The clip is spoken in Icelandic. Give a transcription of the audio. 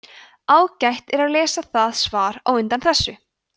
ágætt er að lesa það svar á undan þessu